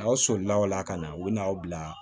Aw solila o la ka na u bɛna'aw bila